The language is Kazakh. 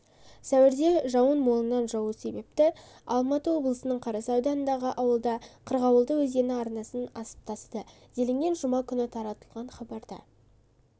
сәуірде жауын молынан жаууы себепті алматы облысының қарасай ауданындағы ауылда қырғауылды өзені арнасынан асып тасыды делінген жұма күні таратылған хабарда